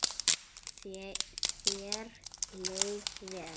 Þér leið vel.